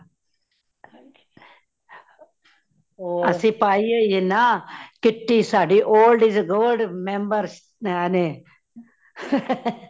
ਅਸੀ ਪਾਈ ਹੋਈ ਏ ਨਾ kitty ਸਾਡੀ old is gold member ਨੇ